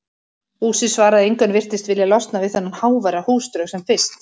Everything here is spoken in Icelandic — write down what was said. Húsið svaraði engu en virtist vilja losna við þennan háværa húsdraug sem fyrst.